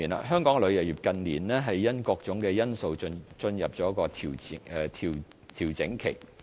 香港旅遊業近年因各種因素進入調整期。